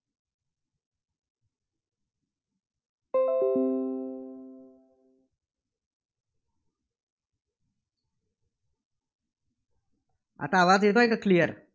आता आवाज येतोय का? clear